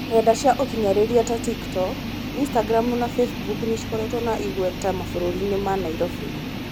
Nenda cia ũkinyanĩria ta TikTok, Instagram na Facebook nĩcikoretwo na igweta mambũrainĩ ma Nairobi.